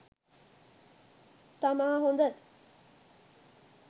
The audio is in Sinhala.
තමා හොඳ.